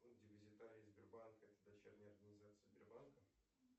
депозитарий сбербанка это дочерняя организация сбербанка